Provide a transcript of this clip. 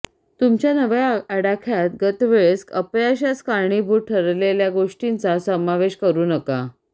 तुमच्या नव्या आडाख्यात गतवेळेस अपयशास कारणीभूत ठरलेल्या गोष्टींचा समावेश करू नका